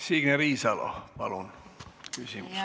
Signe Riisalo, palun!